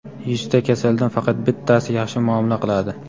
"Yuzta kasaldan faqat bittasi yaxshi muomala qiladi".